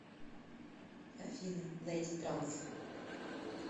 афина найди транс